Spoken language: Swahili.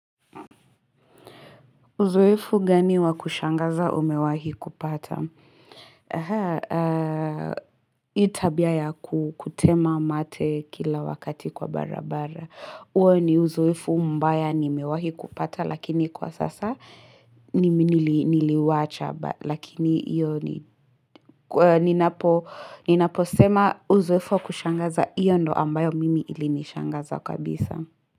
Uzoefu gani wakushangaza umewahi kupata? Hii tabia ya kutema mate kila wakati kwa barabara. Huo ni uzoefu mbaya nimewahi kupata lakini kwa sasa niliwacha. Lakini hiyo ninaposema uzoefu wakushangaza hiyo ndio ambayo mimi ilinishangaza kabisa.